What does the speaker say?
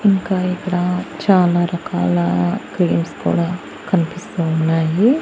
ఇంకా ఇక్కడ చాలా రకాల క్రీమ్స్ కూడా కనిపిస్తూ ఉన్నాయి.